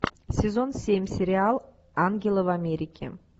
сезон семь сериал ангелы в америке